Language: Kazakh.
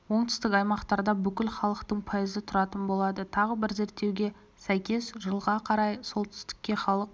оңтүстік аймақтарда бүкіл халықтың пайызы тұратын болады тағы бір зерттеуге сәйкес жылға қарай солтүстікте халық